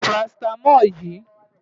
Lo parasítámọ̀ yìí!